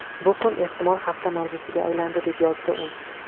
Bu kun, ehtimol hafta mavzusiga aylandi”, deb yozdi u.